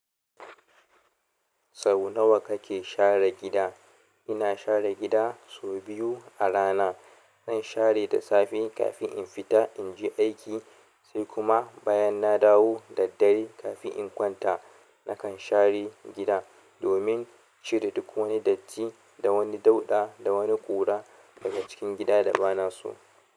Sau nawa kake share gida? Ina share gida sau biyu a rana. Zan share da safe kafin in fita in je aiki, sai kuma bayan na dawo da dare kafin in kwanta. Nakan share gida domin cire duk wani datti da wani dauɗa da wani ƙura daga cikin gida da ba na su.